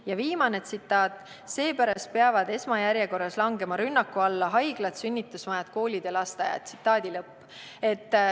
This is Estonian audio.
" Ja viimane tsitaat: "Seepärast peavad esmajärjekorras langema rünnaku alla haiglad, sünnitusmajad, koolid ja lasteaiad.